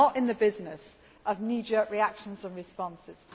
We are not in the business of knee jerk reactions and responses.